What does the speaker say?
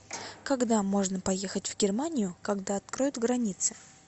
когда можно поехать в германию когда откроют границы